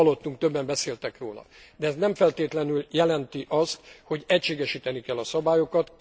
Hallottuk, többen beszéltek róla, de ez nem feltétlenül jelenti azt, hogy egységesíteni kell a szabályokat.